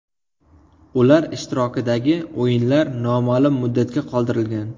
Ular ishtirokidagi o‘yinlar noma’lum muddatga qoldirilgan.